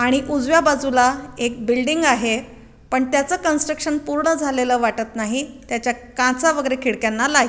आणि उजव्या बाजूला एक बिल्डिंग आहे पण त्याच कन्स्ट्रक्शन पूर्ण झालेल वाटत नाही. त्याच्या काचा वगेरे खिडक्यांना लाही --